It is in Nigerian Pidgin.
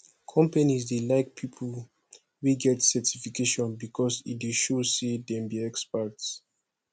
companies dey like people wey get certification because e dey show say dem be experts